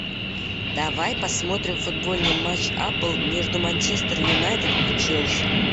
давай посмотрим футбольный матч апл между манчестер юнайтед и челси